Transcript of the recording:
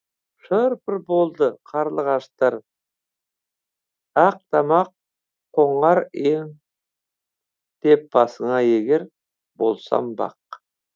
шыр пыр болды қарлығаштар ақ тамақ қонар ем деп басыңа егер болсам бақ